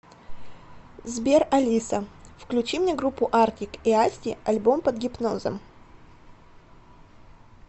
сбер алиса включи мне группу артик и асти альбом под гипнозом